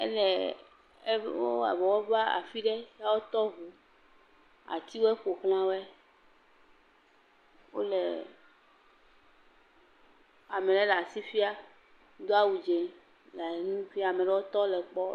Eleeeee., eŋu.., ewɔ abe wova afi ɖe, ya wotɔ ŋu, atiwo ƒoxla wɔe, wole ame le la si fia do awu dze le nu fia, ame ɖewo tse le kpɔ.